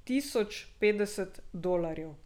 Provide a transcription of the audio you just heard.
Tisoč petdeset dolarjev.